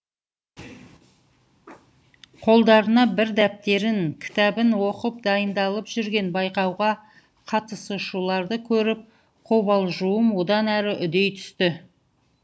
қолдарына бір дәптерін кітабын оқып дайындалып жүрген байқауға қатысушыларды көріп қобалжуым одан әрі үдей түсті